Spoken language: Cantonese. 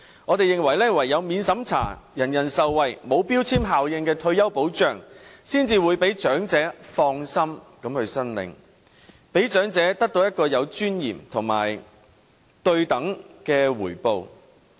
我們認為唯有免審查，人人受惠，沒有標籤效應的退休保障才可讓長者放心申領，讓長者得到有尊嚴和對等的回報。